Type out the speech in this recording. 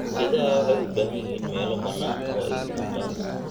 Idaha waxay u baahan yihiin meelo bannaan oo ay daaqaan.